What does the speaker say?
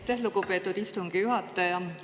Aitäh, lugupeetud istungi juhataja!